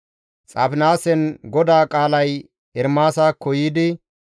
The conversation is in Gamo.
Xaafinaasen GODAA qaalay Ermaasakko yiidi,